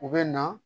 U bɛ na